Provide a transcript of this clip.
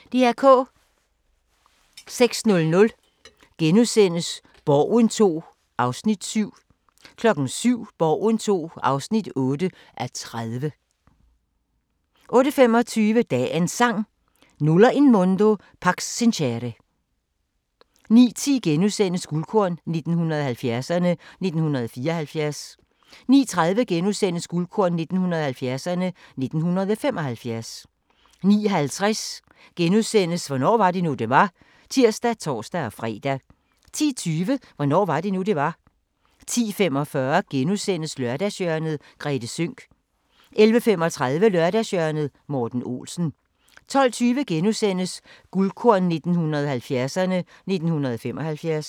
06:00: Borgen II (7:30)* 07:00: Borgen II (8:30) 08:25: Dagens Sang: Nulla in mundo pax sincere 09:10: Guldkorn 1970'erne: 1974 * 09:30: Guldkorn 1970'erne: 1975 * 09:50: Hvornår var det nu, det var? *(tir og tor-fre) 10:20: Hvornår var det nu, det var? 10:45: Lørdagshjørnet - Grethe Sønck * 11:35: Lørdagshjørnet - Morten Olsen 12:20: Guldkorn 1970'erne: 1975 *